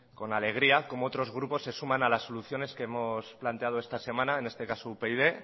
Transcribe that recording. con alegría como otros grupos se suman a las soluciones que hemos planteado esta semana en este caso upyd